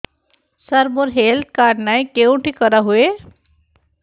ସାର ମୋର health card ନାହିଁ କେଉଁଠି କରା ହୁଏ